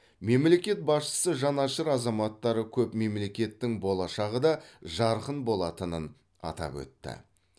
мемлекет басшысы жанашыр азаматтары көп мемлекеттің болашағы да жарқын болатынын атап өтті